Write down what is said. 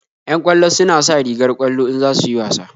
Yan ƙwallo suna sa rigar ƙwallo in za su yi wasa